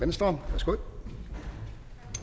venstre værsgo